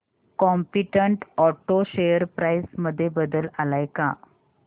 competent auto share price मध्ये बदल आलाय का